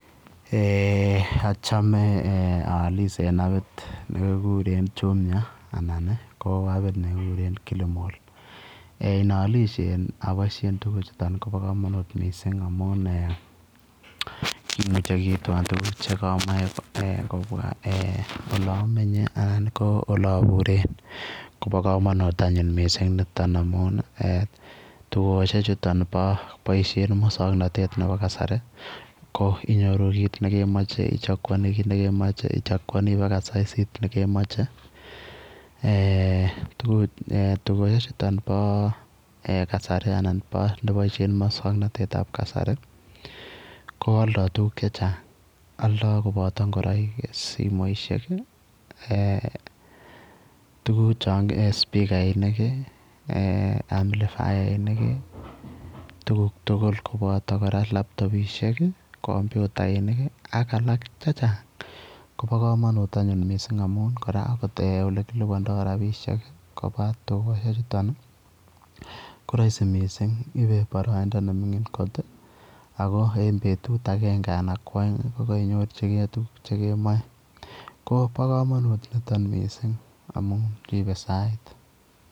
Eeh achame aalis en apit nekigureen jumia anan ko apit nekigureen killmall eeh naalishe aboisien tuguuk chutoon kobaa kamanuut missing amuun kimuchei kiitwaan tuguuk kobwaa eh olaan menyei ii anan ko ole abureen koba kamanut anyuun nitoon amuun dukosiek chutoon bo boisien musangnatet ab kasari ko inyoruu kit nekemachei ichakuanii kiit nekemachei ichakuanii baka saisiit nekemachei eeh dukosiek chutoon bo eeh kasari anan boisien musangnatet ab kasari ii ko aldaa tuguuk che chaang aldaa kobaata ingoraik ii simoisiek eeh tuguuk chaan eeh spikainik ii eeh amplifiainik ii kobataa laptopisheek ii kompyutainik ii ak alaak che chaang Kobo kamanut anyuun missing amuun akot kora kilupandaa rapisheek kobaa dukosiek chutoon ii ko raisi missing iibe baraindaa ne mingiin koot ako en betuut agenge anan ko aeng ii ko Koinyorjigei tuguuk che kemaen kobaa kamanuut anyuun nitoon amuun ripee sait.